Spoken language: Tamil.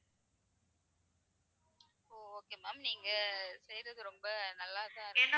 okay ma'am நீங்க செய்றது ரொம்ப நல்லாதான்